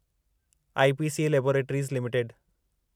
IPCA laboratories limited